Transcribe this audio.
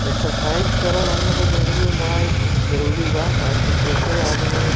exercise करल हमलोग के जिंदगी में बड़ा ही जरूरी बा काहेकी ऐसे आदमी --